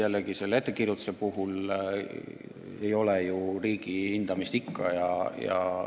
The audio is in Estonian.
Ja lepingu pikkuse ettekirjutuse puhul ju riigi hindamist ei ole.